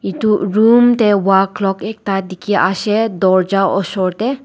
edu room tae wall clock ekta dikhiase dorja osor tae.